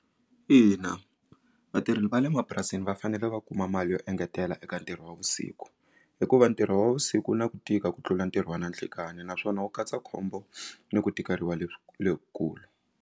Ina vatirhi va le mapurasini va fanele va kuma mali yo engetela eka ntirho wa vusiku hikuva ntirho wa vusiku na ku tika ku tlula ntirho wa na nhlikani naswona wu katsa khombo ni ku tikeriwa kulu.